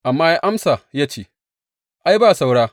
Amma ya amsa ya ce, Ai, ba saura.